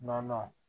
Nɔnɔ